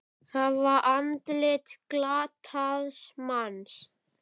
Það var andlit glataðs manns.